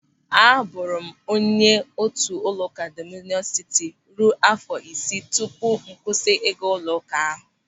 Aburu m onye otu ụlọụka Dọmịnịọn Sịtị ruo áfọ̀ isii tupu m kwụsị ịga ụlọụka ahụ.